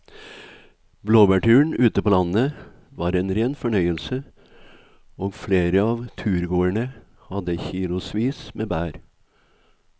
Blåbærturen ute på landet var en rein fornøyelse og flere av turgåerene hadde kilosvis med bær.